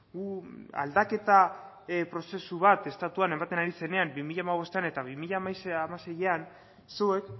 gu aldaketa prozesu bat estatuan ematen ari zenean bi mila hamabostean eta bi mila hamaseian zuek